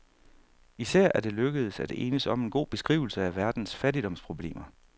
Især er det lykkedes at enes om en god beskrivelse af verdens fattigdomsproblemer.